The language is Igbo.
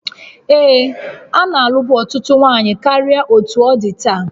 Ee, a na-alụbụ ọtụtụ nwanyị karịa otú ọ dị taa